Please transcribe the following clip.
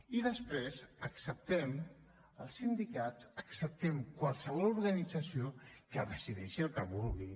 i després acceptem els sindicats acceptem qualsevol organització que decideixi el que vulgui